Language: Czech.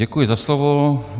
Děkuji za slovo.